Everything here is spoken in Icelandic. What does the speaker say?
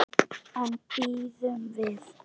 En bíðum við.